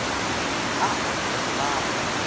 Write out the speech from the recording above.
a aloe ya go baba